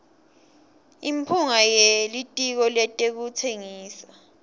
imphunga yelitiko letekutsengisa